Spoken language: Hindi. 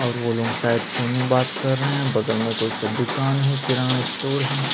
और वो लोग शायद फ़ोन में बात कर रहै है बगल में कोई सा दुकान है किनारा स्टोर है।